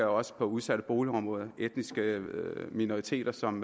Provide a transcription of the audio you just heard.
også på udsatte boligområder og etniske minoriteter som